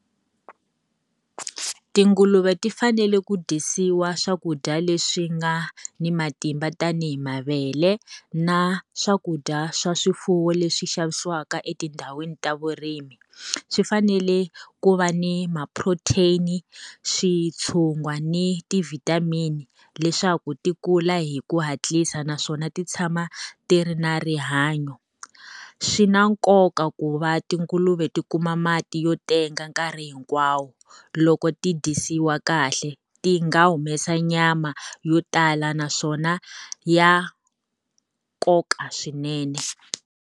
Tinguluve ti fanele ku dyondzisiwa swakudya leswi nga ni matimba tanihi mavele na swakudya swa swifuwo leswi xavisiwaka etindhawini ta vurimi. Swi fanele ku va ni ma-protein, switshugwa ni ti-vitamin, leswaku ti kula hi ku hatlisa naswona ti tshama ti ri na rihanyo. Swi na nkoka ku va tinguluve ti kuma mati yo tenga nkarhi hinkwawo. Loko ti dyisiwa kahle, ti nga humesa nyama yo tala naswona ya nkoka swinene.